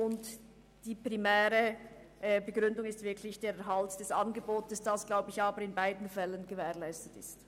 Die primäre Begründung ist der Erhalt dieses Angebots, welcher aber wohl in beiden Fällen gewährleistet ist.